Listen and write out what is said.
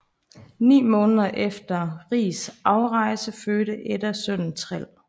Ni måneder efter Rigs afrejse fødte Edda sønnen Træl